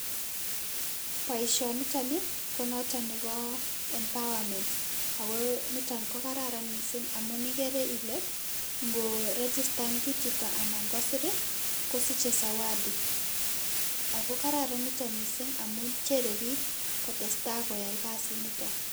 Boishoniton ko noton nebo empowerment, ak ko niton ko kararan mising amun ikere ilee ngorigistan kiit chito anan kosir kosiche zawadi, ak ko kararan niton mising amuun cheree biik koyai kasiniton.